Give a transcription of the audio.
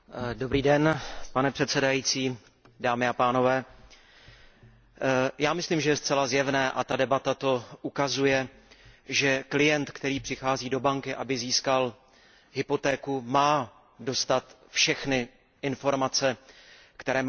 Pane předsedající, já myslím, že je zcela zjevné a ta debata to ukazuje, že klient, který přichází do banky, aby získal hypotéku, má dostat všechny informace, které má mít k dispozici.